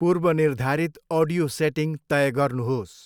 पूर्वनिर्धारित audio setting तय गर्नुहोस्।